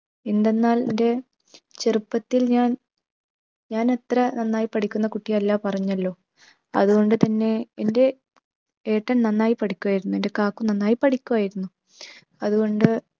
എന്തെന്നാൽ എൻ്റെ ചെറുപ്പത്തിൽ ഞാൻ, ഞാൻ അത്ര നന്നായി പഠിക്കുന്ന കുട്ടി അല്ല പറഞ്ഞല്ലോ അതുകൊണ്ട് തന്നെ എൻ്റെ ഏട്ടൻ നന്നായി പഠിക്കുമായിരുന്നു. എന്റെ ക്കാക്കു നന്നായി പഠിക്കുവായിരുന്നു. അതുകൊണ്ട്